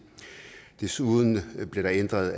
desuden bliver der ændret